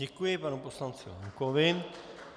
Děkuji panu poslanci Lankovi.